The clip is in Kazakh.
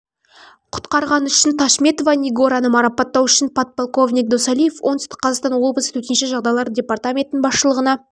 құтқарғаны үшін ташметова нигораны марапаттау үшін подполковник досалиев оңтүстік қазақстан облысы төтенше жағдайлар департаментінің басшылығына